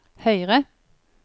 høyre